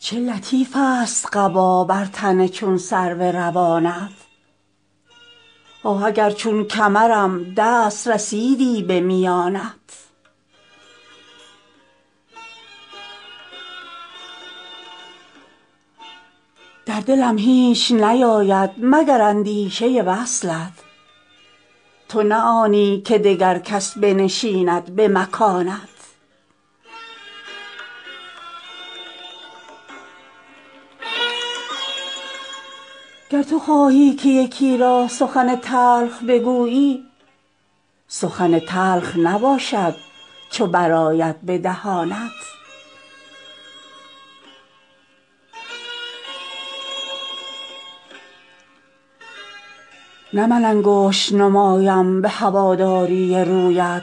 چه لطیفست قبا بر تن چون سرو روانت آه اگر چون کمرم دست رسیدی به میانت در دلم هیچ نیاید مگر اندیشه وصلت تو نه آنی که دگر کس بنشیند به مکانت گر تو خواهی که یکی را سخن تلخ بگویی سخن تلخ نباشد چو برآید به دهانت نه من انگشت نمایم به هواداری رویت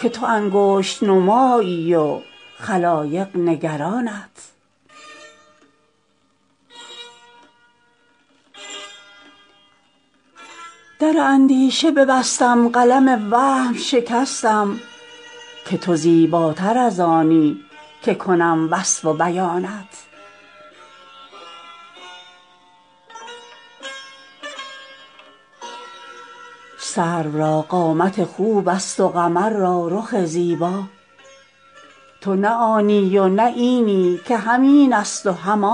که تو انگشت نمایی و خلایق نگرانت در اندیشه ببستم قلم وهم شکستم که تو زیباتر از آنی که کنم وصف و بیانت سرو را قامت خوبست و قمر را رخ زیبا تو نه آنی و نه اینی که هم اینست و هم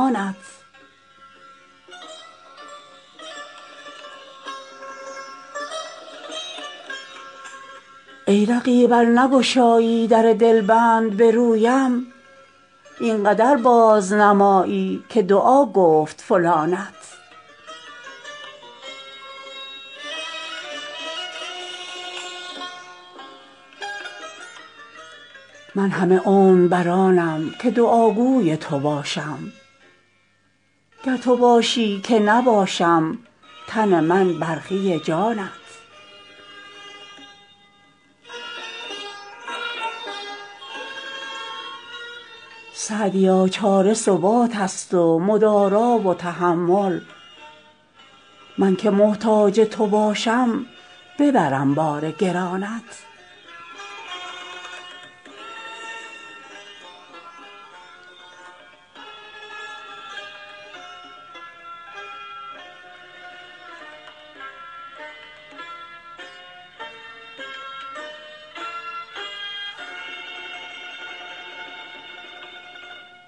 آنت ای رقیب ار نگشایی در دلبند به رویم این قدر بازنمایی که دعا گفت فلانت من همه عمر بر آنم که دعاگوی تو باشم گر تو خواهی که نباشم تن من برخی جانت سعدیا چاره ثباتست و مدارا و تحمل من که محتاج تو باشم ببرم بار گرانت